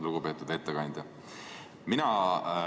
Lugupeetud ettekandja!